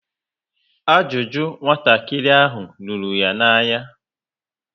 Ajụjụ nwatakịrị ahụ rúrú ya na-anya